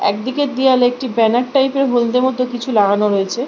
একদিকের দেওয়ালে একটি banner type - এর হলদে মতো কিছু লাগানো রয়েছে ।